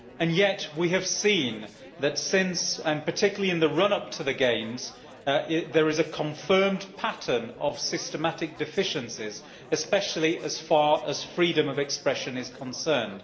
Yet we have seen, particularly in the run up to the Games, that there is a confirmed pattern of systematic deficiencies, especially as far as freedom of expression is concerned.